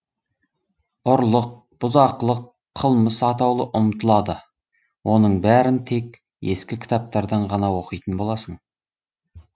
ұрлық бұзақылық қылмыс атаулы ұмытылады оның бәрін тек ескі кітаптардан ғана оқитын боласың